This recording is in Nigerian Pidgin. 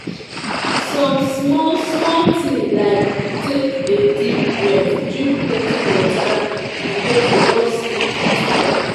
Some small small thing like take a deep breath, drink plenty water, and get enough sleep fit help.